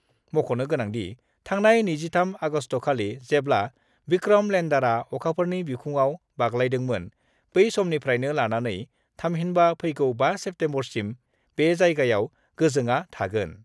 मख'नो गोनांदि, थांनाय 23 आगस्टखालि जेब्ला भिक्रम लेन्डारआ अखाफोरनि बिखुङाव बाग्लायर्दोमोन बै समनिफ्रायनो लानानै थामहिनबा फैगौ 5सेप्तेम्बरसिम बे जायगायाव, गोजोंआ थागोन।